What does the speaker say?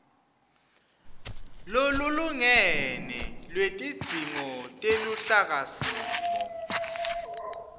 lolulingene lwetidzingo teluhlakasimo